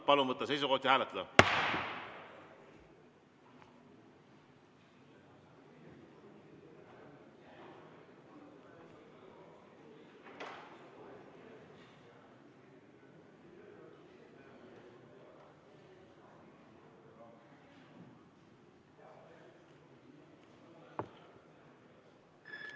Palun võtta seisukoht ja hääletada!